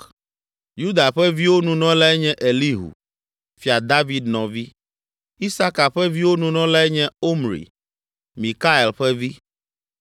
Yuda ƒe viwo Nunɔlae nye Elihu, Fia David nɔvi; Isaka ƒe viwo Nunɔlae nye Omri, Mikael ƒe vi;